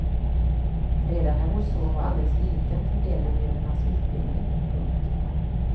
Redan när vår son var alldeles liten funderade vi över hans utbildning. punkt